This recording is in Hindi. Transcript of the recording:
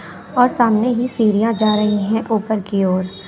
और सामने ही सीढ़ियां जा रही है ऊपर की ओर--